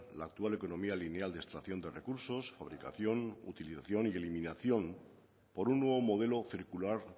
la actual economía lineal de extracción de recursos fabricación utilización y eliminación por un nuevo modelo circular